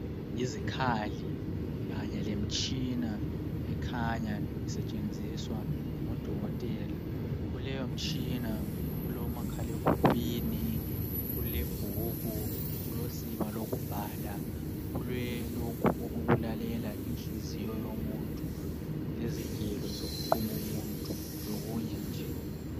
Yizikhali kanye lemtshina ekhanya isetshenziswa ngodokotela, kuleyo mtshina kulomakhala ekhukhwini, kulebhuku, kulosiba lokubhala kula lokhu okulalela inhliziyo yomuntu lezigelo zokuquma umuntu lokunye nje.